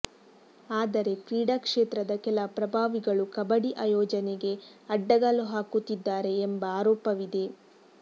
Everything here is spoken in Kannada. ಆದರೆ ಕ್ರೀಡಾ ಕ್ಷೇತ್ರದ ಕೆಲ ಪ್ರಭಾವಿಗಳು ಕಬಡ್ಡಿ ಆಯೋಜನೆಗೆ ಅಡ್ಡಗಾಲು ಹಾಕುತ್ತಿದ್ದಾರೆ ಎಂಬ ಆರೋಪವಿದೆ